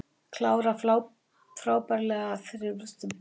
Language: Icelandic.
Kláraði frábærlega í þriðja markinu og var frískur allan leikinn.